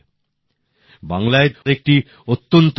শ্রী অরবিন্দ তাঁর স্বদেশীর প্রেরণা নিজের পরিবার থেকে পেয়েছিলেন